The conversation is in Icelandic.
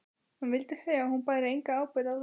Hann vildi segja að hún bæri enga ábyrgð á þessu.